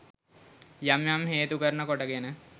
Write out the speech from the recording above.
යම් යම් හේතු කරන කොටගෙන